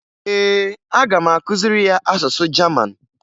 Ee, aga m akụziri ya asụsụ Jaman